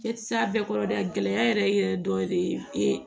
E tɛ se a bɛɛ kɔrɔ dɛ a gɛlɛya yɛrɛ yɛrɛ dɔ de ye e